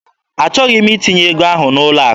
Achọghị m itinye ego ahụ n'ụlọ akụ.